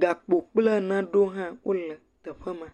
Gakpo kple naewo hã kpoe le teƒe ma.